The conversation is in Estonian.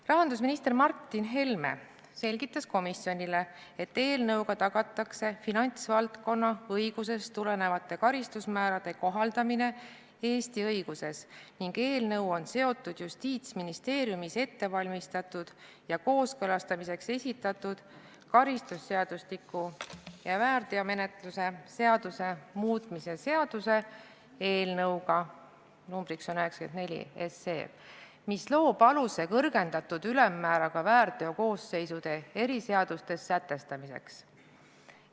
Rahandusminister Martin Helme selgitas komisjonile, et eelnõuga tagatakse finantsvaldkonna õigusest tulenevate karistusmäärade kohaldamine Eesti õiguses ning eelnõu on seotud Justiitsministeeriumis ettevalmistatud ja kooskõlastamiseks esitatud karistusseadustiku ja väärteomenetluse seadustiku muutmise seaduse eelnõuga – numbriks on 94 –, mis loob aluse kõrgendatud ülemmääraga väärteokoosseisude eriseadustes sätestamiseks.